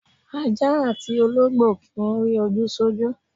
Aja atí ologbo ki ń ri oju sọju.